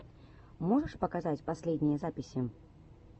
можешь показать последние записи